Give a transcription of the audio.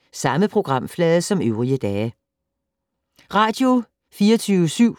Radio24syv